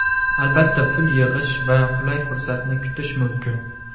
Albatta pul yig‘ish va qulay fursatni kutish mumkin.